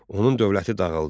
Onun dövləti dağıldı.